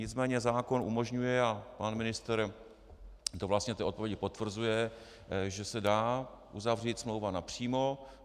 Nicméně zákon umožňuje, a pan ministr to vlastně v odpovědi potvrzuje, že se dá uzavřít smlouva napřímo.